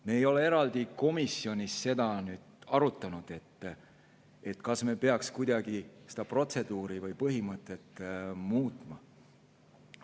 Me ei ole komisjonis eraldi arutanud seda, kas me peaks kuidagi seda protseduuri või põhimõtet muutma.